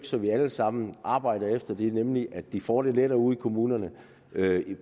så vi alle sammen arbejder efter det nemlig at de får det lettere ude i kommunerne